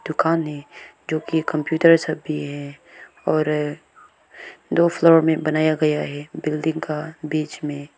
मकान है जो कि कंप्यूटर सब भी है और दो फ्लोर में बनाया गया है बिल्डिंग का बीच में--